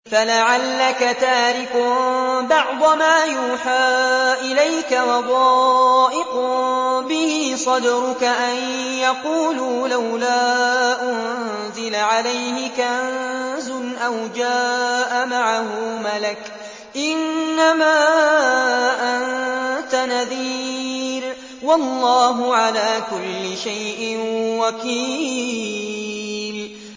فَلَعَلَّكَ تَارِكٌ بَعْضَ مَا يُوحَىٰ إِلَيْكَ وَضَائِقٌ بِهِ صَدْرُكَ أَن يَقُولُوا لَوْلَا أُنزِلَ عَلَيْهِ كَنزٌ أَوْ جَاءَ مَعَهُ مَلَكٌ ۚ إِنَّمَا أَنتَ نَذِيرٌ ۚ وَاللَّهُ عَلَىٰ كُلِّ شَيْءٍ وَكِيلٌ